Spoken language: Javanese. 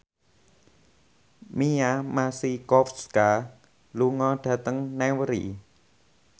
Mia Masikowska lunga dhateng Newry